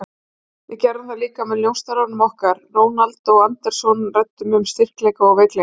Við gerðum það líka með njósnaranum okkar, Ronald Andersson, og ræddum um styrkleika og veikleika.